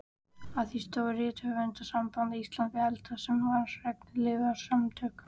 Að því stóð Rithöfundasamband Íslands hið eldra, sem var regnhlífarsamtök